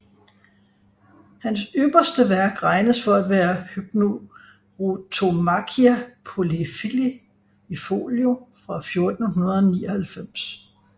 Hans ypperste værk regnes for at være Hypnerotomachia Poliphili i folio fra 1499